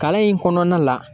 Kalan in kɔnɔna la